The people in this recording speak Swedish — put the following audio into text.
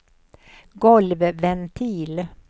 golvventil